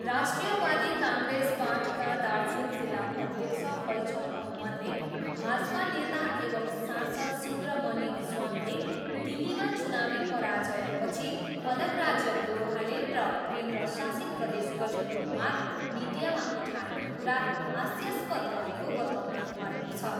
राष्ट्रियवादी काङ्ग्रेस पार्टीका दार्जिलिङ जिल्ला अध्यक्ष फैजुल अहमदले भाजपा नेता एवम् सांसद सुब्रमन्यम स्वामीले दिल्लीमा चुनावी पराजयपछि अलग राज्य गोर्खाल्यान्ड र केन्द्रशासित प्रदेश गठनको माग मिडियामा उठाएको कुरा हास्यस्पद रहेको बताउनुभएको छ।